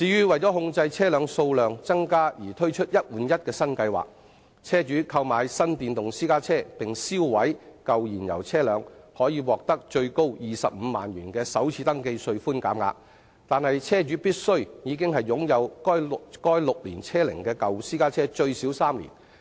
為控制車輛數量增加，政府推出"一換一"新計劃，車主購買新電動私家車並銷毀舊燃油車輛可獲最多25萬元的首次登記稅寬減額，但車主必須已擁有該6年車齡的舊私家最少3年。